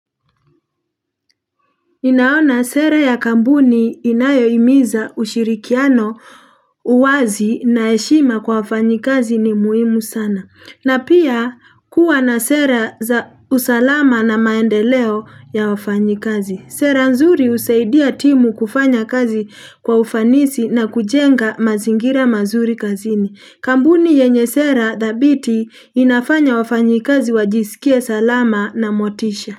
Inaona sera ya kampuni inayo himiza ushirikiano uwazi na heshima kwa wafanyikazi ni muhimu sana. Na pia kuwa na sera za usalama na maendeleo ya wafanykazi. Sera nzuri husaidia timu kufanya kazi kwa ufanisi na kujenga mazingira mazuri kazini. Kampuni yenye sera thabiti inafanya wafanyikazi wajisikie salama na motisha.